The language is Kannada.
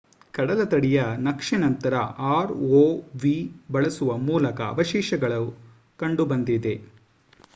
ಕಡಲತಡಿಯ ನಕ್ಷೆನಂತರ ಆರ್ಒವಿ ಬಳಸುವ ಮೂಲಕ ಅವಶೇಷಗಳು ಕಂಡುಬಂದಿದೆ